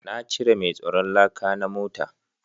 Na cire mai tsaron laka na mota